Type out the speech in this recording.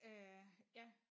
Øh ja